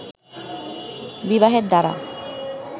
বিবাহের দ্বারা